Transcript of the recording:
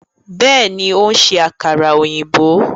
Bẹẹni, o n ṣe àkàrà òyìnbó